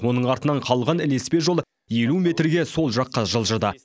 оның артынан қалған ілеспе жол елу метрге сол жаққа жылжыды